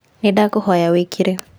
Nĩndakũhoya wĩkire